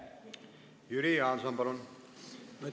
Jüri Jaanson, palun!